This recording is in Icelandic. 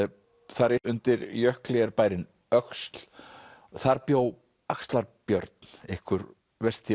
þar yst undir jökli er bærinn öxl þar bjó axlar Björn einhver versti